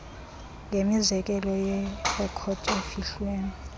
ngemizekelo yerekhodi efihliweyo